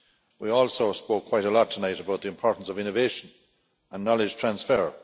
We also spoke quite a lot tonight about the importance of innovation and knowledge transfer.